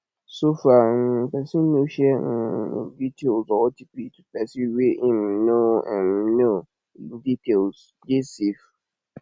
so far um person no share um im details or otp to person wey im no um know im details dey safe